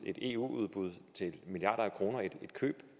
eu udbud til milliarder af kroner et køb